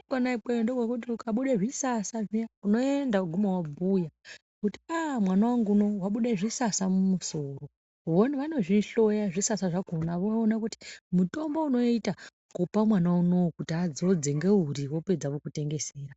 ikona ikweyo ndokwekuti ukabuda zvisasa zviya unoenda woguma wobhuya kuti a mwana wangu unoyu wabude zvisasa musoro. Vona vanozvihloya zvisasa zvakhona voona kuti mutombo unoita kupa mwana unowu kuti adzodze ngeuri wopedza vokutengesera.